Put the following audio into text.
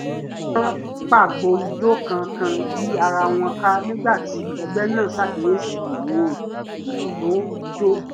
wọ́n pagbo ijó kánkán yí ara wọn ká nígbà tí ẹgbẹ́ náà ṣàkíyèsí ìro ìlù tó jọ ọ́